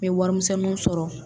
N bɛ warimisɛnninw sɔrɔ